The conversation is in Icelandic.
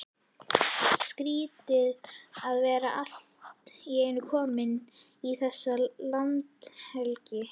Skrýtið að vera allt í einu kominn í þessa landhelgi!